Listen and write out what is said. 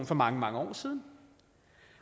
for mange mange år siden